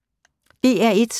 DR1